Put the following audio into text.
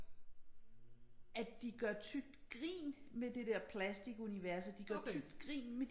At de gør tykt grin med det der plastikunivers og de gør tykt grin med